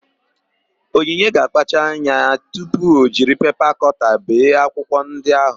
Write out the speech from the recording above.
Onyinye ga-akpacha anya tupu o jiri pepa kọta bee akwụkwọ ndị áhụ̀.